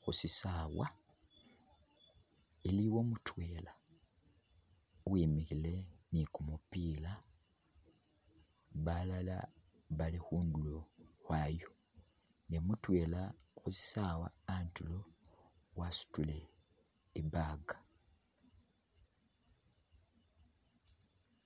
khu shisaawa iliwo mutwela uwimikhile ni kumupila balala bali khundulo khwayo ne mutwela khushisawa khandulo wasutile ibag.